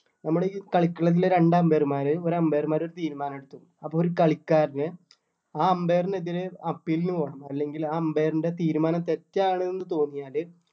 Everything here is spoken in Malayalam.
നമ്മുടെ ഈ കളിക്കളത്തിലെ രണ്ട് umpire മാര് ഒരു umpire മാര് ഒരു തീരുമാനം എടുത്തു അപ്പൊ ഒരു കളിക്കാരന് ആ umpire ന് എതിരേ appeal ന് പോകണം അല്ലെങ്കിൽ ആ umpire ൻ്റെ തീരുമാനം തെറ്റാണ് എന്ന് തോന്നിയാല്